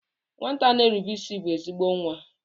Nwata na-erube isi bụ ezigbo nwa.